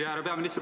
Hea peaminister!